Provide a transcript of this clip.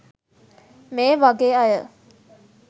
මේ වගේ අය